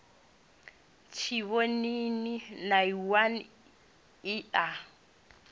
tshivhonini nay one i a